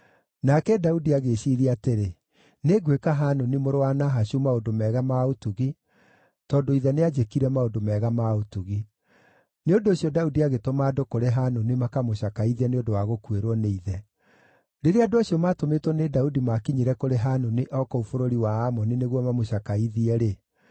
Nake Daudi agĩĩciiria atĩrĩ, “Nĩngwĩka Hanuni mũrũ wa Nahashu maũndũ mega ma ũtugi tondũ ithe nĩanjĩkire maũndũ mega ma ũtugi.” Nĩ ũndũ ũcio Daudi agĩtũma andũ kũrĩ Hanuni makamũcakaithie nĩ ũndũ wa gũkuĩrwo nĩ ithe. Rĩrĩa andũ acio maatũmĩtwo nĩ Daudi maakinyire kũrĩ Hanuni o kũu bũrũri wa Amoni nĩguo mamũcakaithie-rĩ,